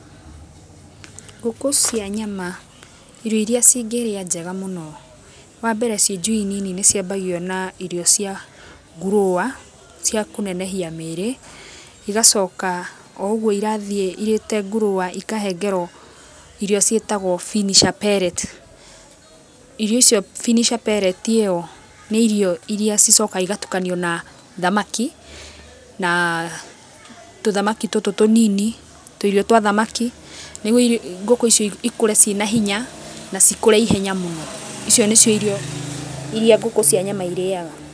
Ngũkũ cia nyama, irio iria cingĩrĩa njega mũno, wambere ciĩ njui nini nĩ ciambagio na irio cia ngurũwa cia kũnenehia mĩĩrĩ, igacoka o ũguo irathiĩ irĩte ngurũwa ikahengero irio ciĩtagwo finisher pellet. Irio icio finisher pellet ĩo nĩ irio iria cicokaga cigatukanio na thamaki na tũthamaki tũtũ tũnini, tũirio twa thamaki, nĩguo ngũkũ icio cikũre ciĩ na hinya na cikũre ihenya mũno, icio nĩcio irio iria ngũkũ cia nyama irĩaga.